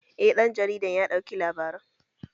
Eh ɗan jarida ya ɗauki labaran